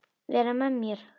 Vera með mér?